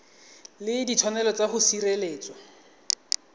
le ditshwanelo tsa go sireletswa